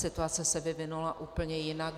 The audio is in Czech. Situace se vyvinula úplně jinak.